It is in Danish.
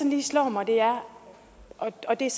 lige slår mig er om og det er